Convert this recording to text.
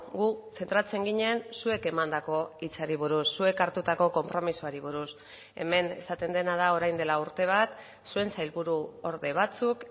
gu zentratzen ginen zuek emandako hitzari buruz zuek hartutako konpromisoari buruz hemen esaten dena da orain dela urte bat zuen sailburuorde batzuk